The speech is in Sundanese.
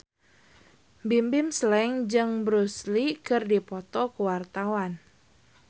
Bimbim Slank jeung Bruce Lee keur dipoto ku wartawan